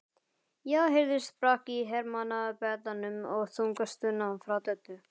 Þá heyrðist brak í hermannabeddanum og þung stuna frá Döddu.